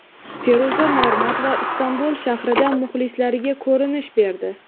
Feruza Normatova Istanbul shahridan muxlislariga ko‘rinish berdi.